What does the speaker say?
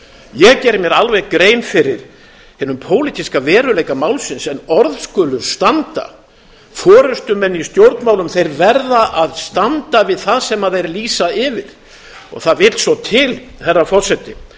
ég geri mér alveg grein fyrir hinum pólitíska veruleika málsins en orð skulu standa forustumenn í stjórnmálum verða að standa við það sem þeir lýsa yfir það vill svo til herra forseti